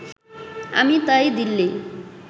আমি তাই দিল্লি